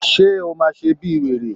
Ṣé o máa ṣe bíi wèrè?